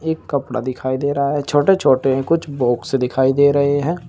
एक कपड़ा दिखाई दिखाई दे रहा है छोटे छोटे कुछ बॉक्स दिखाई दे रहे हैं।